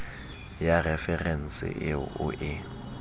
ya referense eo o e